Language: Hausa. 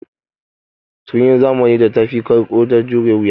Tukunyar zamanin da tafi ƙarƙo da jure wuya.